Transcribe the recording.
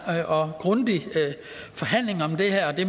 og grundig forhandling om det her og det